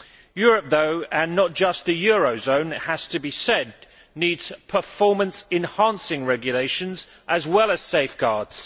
Europe though and not just the eurozone, it has to be said needs performance enhancing regulations as well as safeguards.